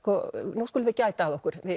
nú skulum við gæta að okkur